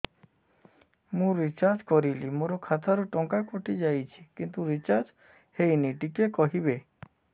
ମୁ ରିଚାର୍ଜ କରିଲି ମୋର ଖାତା ରୁ ଟଙ୍କା କଟି ଯାଇଛି କିନ୍ତୁ ରିଚାର୍ଜ ହେଇନି ଟିକେ କହିବେ